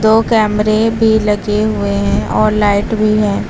दो कैमरे भी लगे हुए हैं और लाइट भी है।